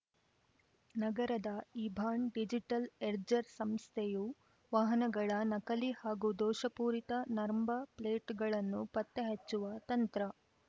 ನಗರದ ಇಭಾನ್‌ ಡಿಜಿಟಲ್‌ ಎರ್ಡ್ಜ್ ಸಂಸ್ಥೆಯು ವಾಹನಗಳ ನಕಲಿ ಹಾಗೂ ದೋಷಪೂರಿತ ನರ್ಬಾ ಪ್ಲೇಟ್‌ಗಳನ್ನು ಪತ್ತೆ ಹಚ್ಚುವ ತಂತ್ರ